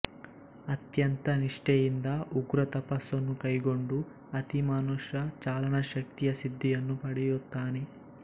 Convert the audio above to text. ಅತ್ಯಂತ ನಿಷ್ಠೆಯಿಂದ ಉಗ್ರ ತಪಸ್ಸನ್ನು ಕೈಗೊಂಡು ಅತಿಮಾನುಷ ಚಾಲನಶಕ್ತಿಯ ಸಿದ್ಧಿಯನ್ನು ಪಡೆಯುತ್ತಾನೆ